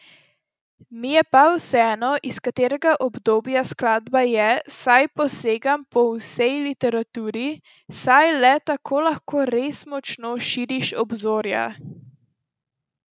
Mi je pa vseeno, iz katerega obdobja skladba je, saj posegam po vsej literaturi, saj le tako lahko res močno širiš obzorja.